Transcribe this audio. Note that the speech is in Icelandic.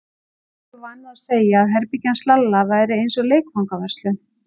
Jói var vanur að segja að herbergið hans Lalla væri eins og leikfangaverslun.